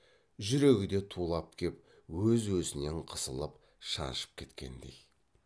жүрегі де тулап кеп өз өзінен қысылып шаншып кеткендей